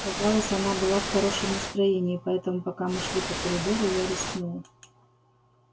казалось она была в хорошем настроении поэтому пока мы шли по коридору я рискнул